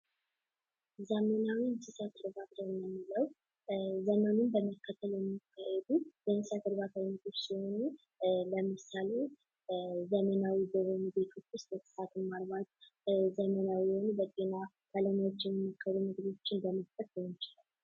ዘመናዊ የእንስሳት እርባታ የምንለው ዘመኑን በመከተል የሚካሄዱ የእንሰሳት እርባታ አይነቶች ሲሆኑ ለምሳሌ ዘመናዊ በሆኑ ቤቶች ውስጥ እንስሳትን ማርባት ዘመናዊ የሆኑ የጤና መለያዎችን በመቅጠር ሊሆን ይችላል።